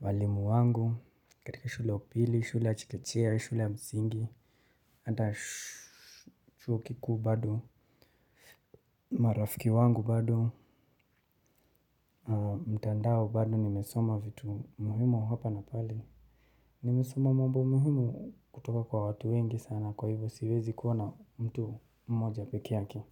walimu wangu, katika shule upili, shule ya chekechea, shule msingi, hata chuo kikuu bado, marafiki wangu bado, mtandao bado nimesoma vitu muhimu hapa na pale. Nimesoma mambo muhimu kutoka kwa watu wengi sana kwa hivyo siwezi kuona mtu mmoja pekeyake.